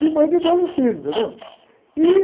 E mãe de doze filhos, entendeu? Ih...